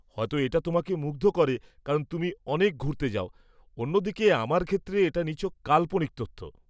হয়ত এটা তোমাকে মুগ্ধ করে কারণ তুমি অনেক ঘুরতে যাও; অন্যদিকে, আমার ক্ষেত্রে, এটা নিছক কাল্পনিক তথ্য।